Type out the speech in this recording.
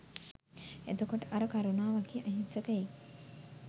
එතකොට අර කරුණා වගේ අහිංසකයෙක්